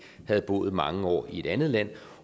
havde boet mange år i et andet land